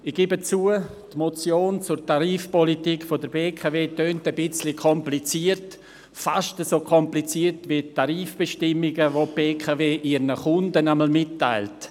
Ich gebe zu, die Motion zur Tarifpolitik der BKW Energie AG (BKW) tönt etwas kompliziert, fast so kompliziert, wie die Tarifbestimmungen, welche die BKW ihren Kunden jeweils mitteilt.